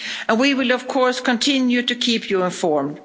We will of course continue to keep you informed.